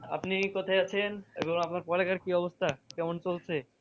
আপনি কোথায় আছেন? এবং আপনার পরে কার কি অবস্থা? কেমন চলছে?